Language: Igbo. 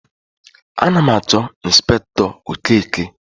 Ana m achọ Ịnspektọ Okeke.